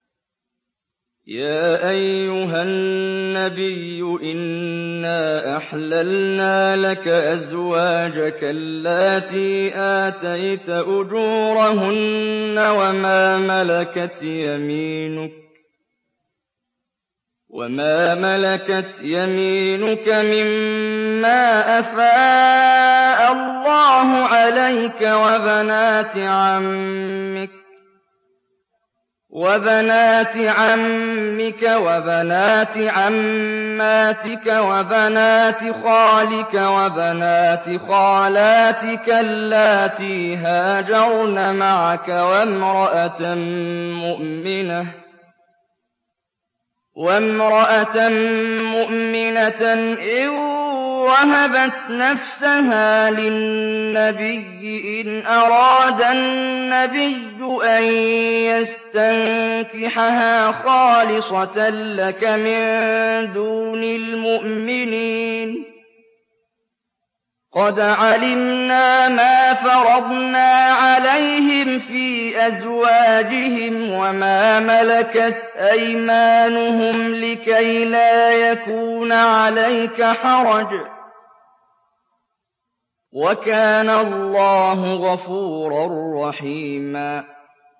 يَا أَيُّهَا النَّبِيُّ إِنَّا أَحْلَلْنَا لَكَ أَزْوَاجَكَ اللَّاتِي آتَيْتَ أُجُورَهُنَّ وَمَا مَلَكَتْ يَمِينُكَ مِمَّا أَفَاءَ اللَّهُ عَلَيْكَ وَبَنَاتِ عَمِّكَ وَبَنَاتِ عَمَّاتِكَ وَبَنَاتِ خَالِكَ وَبَنَاتِ خَالَاتِكَ اللَّاتِي هَاجَرْنَ مَعَكَ وَامْرَأَةً مُّؤْمِنَةً إِن وَهَبَتْ نَفْسَهَا لِلنَّبِيِّ إِنْ أَرَادَ النَّبِيُّ أَن يَسْتَنكِحَهَا خَالِصَةً لَّكَ مِن دُونِ الْمُؤْمِنِينَ ۗ قَدْ عَلِمْنَا مَا فَرَضْنَا عَلَيْهِمْ فِي أَزْوَاجِهِمْ وَمَا مَلَكَتْ أَيْمَانُهُمْ لِكَيْلَا يَكُونَ عَلَيْكَ حَرَجٌ ۗ وَكَانَ اللَّهُ غَفُورًا رَّحِيمًا